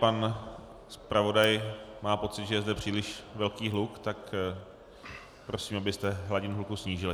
Pan zpravodaj má pocit, že je zde příliš velký hluk, tak prosím, abyste hladinu hluku snížili.